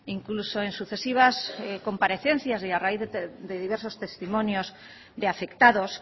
incluso en sucesivas comparecencias y a raíz de diversos testimonios de afectados